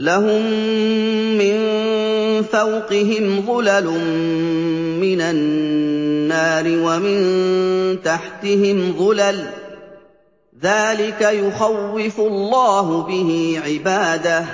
لَهُم مِّن فَوْقِهِمْ ظُلَلٌ مِّنَ النَّارِ وَمِن تَحْتِهِمْ ظُلَلٌ ۚ ذَٰلِكَ يُخَوِّفُ اللَّهُ بِهِ عِبَادَهُ ۚ